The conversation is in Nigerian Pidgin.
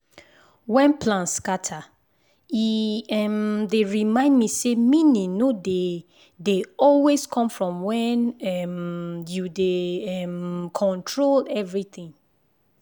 when plan scatter e um dey remind me say meaning no dey dey always come from when um you dey um control everything.